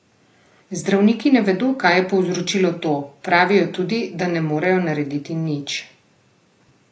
Zdravniki ne vedo, kaj je povzročilo to, pravijo tudi, da ne morejo narediti nič.